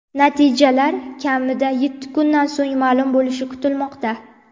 Natijalar kamida yetti kundan so‘ng ma’lum bo‘lishi kutilmoqda.